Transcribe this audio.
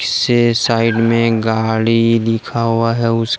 से साइड में गाड़ी लिखा हुआ है। उसके।